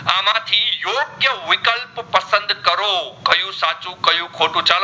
કરો કયું સાચું કયું ખોટું